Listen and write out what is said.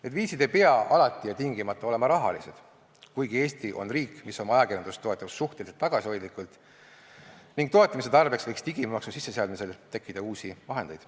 Need viisid ei pea alati ja tingimata olema rahalised, kuigi Eesti on riik, mis oma ajakirjandust toetab suhteliselt tagasihoidlikult ning toetamise tarbeks võiks digimaksu sisseseadmisel tekkida uusi vahendeid.